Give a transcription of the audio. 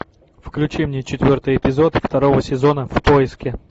включи мне четвертый эпизод второго сезона в поиске